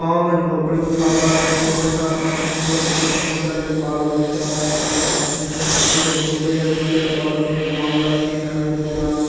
गांव में झोंपड़ी उठावल हई ढेर सारा अपना फैमिली लोग से पहुँचल हई बाल-बच्चा सब साथ में और पीछे झोंपड़ी हई पेड़-पौधा भी हई गांव वाला सीन हई पूरा।